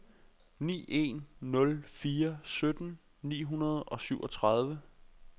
ni en nul fire sytten ni hundrede og syvogtredive